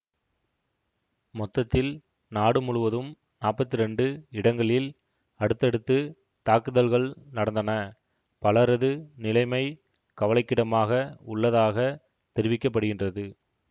மொத்தத்தில் நாடு முழுவதும் நாப்பத்தி இரண்டு இடங்களில் அடுத்தடுத்து தாக்குதல்கள் நடந்தன பலரது நிலைமை கவலைக்கிடமாக உள்ளதாக தெரிவிக்க படுகின்றது